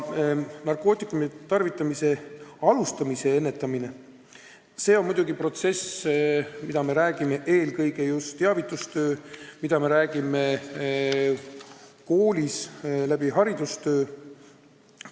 Narkootikumide tarvitamise alustamise ennetamine on muidugi protsess, seda me teeme eelkõige just teavitustöö abil, koolis tehtava töö abil.